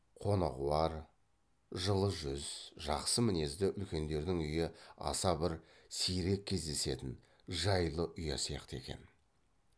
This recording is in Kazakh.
қонағуар жылы жүз жақсы мінезді үлкендердің үйі аса бір сирек кездесетін жайлы ұя сияқты екен